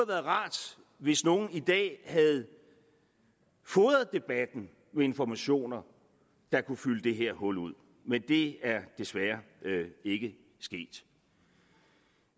været rart hvis nogen i dag havde fodret debatten med informationer der kunne fylde det her hul ud men det er desværre ikke sket